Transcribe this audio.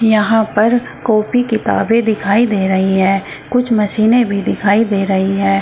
यहां पर कॉपी किताबें दिखाई दे रही है कुछ मशीने भी दिखाई दे रही हैं।